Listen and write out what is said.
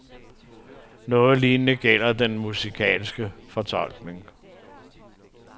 Noget lignende gælder den musikalske fortolkning.